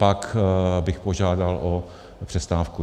Pak bych požádal o přestávku.